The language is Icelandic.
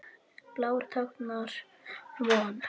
Blár táknar von.